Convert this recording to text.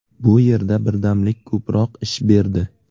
Bu yerda birdamlik ko‘proq ish berdi.